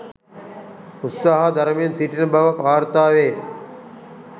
උත්සාහ දරමින් සිටින බව වාර්තා වේ.